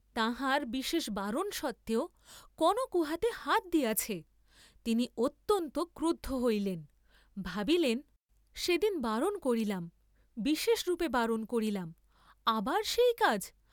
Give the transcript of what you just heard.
তাঁহার বিশেষ বারণ সত্ত্বেও কনক উহাতে হাত দিয়াছে, তিনি অত্যন্ত ক্রুদ্ধ হইলেন; ভাবিলেন, সেদিন বারণ করিলাম, বিশেষরূপে বারণ করিলাম, আবার সেইকাজ!